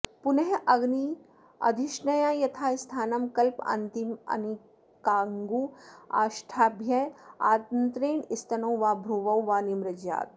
पुनरग्निर्धिष्ण्या यथास्थानं कल्पन्तामित्यनामिकाङ्गुष्ठाभ्यामादायान्तरेण स्तनौ वा भ्रुवौ वा निमृज्यात्